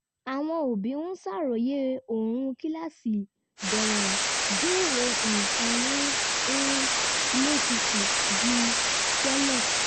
àwọn òbí ń ṣàròyé ooru kíláàsì bẹ̀rẹ̀ béèrè nǹkan mú um ilé tutù ju tẹ́lẹ̀